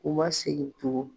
U ma segin tugun.